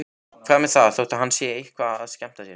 Hvað með það þótt hann sé eitthvað að skemmta sér?